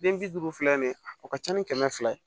Den bi duuru fila nin o ka ca ni kɛmɛ fila ye